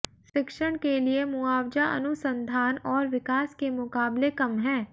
शिक्षण के लिए मुआवजा अनुसंधान और विकास के मुकाबले कम है